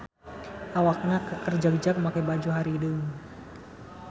Awakna keker jagjag make baju hararideung.